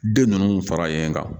Den ninnu faralen kan